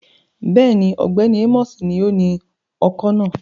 Bẹ́ẹ̀ni, Ọgbẹni Amosi ni oni ọ́kọ náa